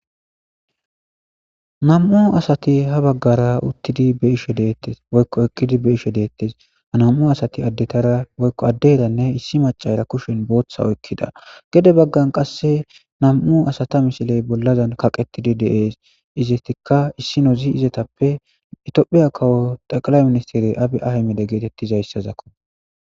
Nam'u asati ha bagara utidi beyishe detes, woyko eqidi beyishe detes, ha nam'u asati adetara woyko aderanne issi macayra kusheni bootha oykida gede bagani qase nam'u asata misiley bollazani kaqeti de'es, izetika issinozi izetappe itophiya kawo xeqilay misistere abiy Ahmed getetizaysazako.